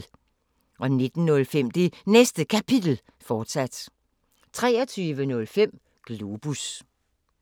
19:05: Det Næste Kapitel, fortsat 23:05: Globus